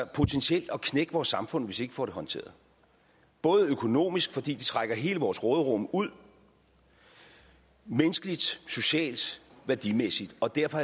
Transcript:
potentielt at knække vores samfund hvis ikke vi får det håndteret både økonomisk fordi det trækker hele vores råderum ud og menneskeligt socialt værdimæssigt og derfor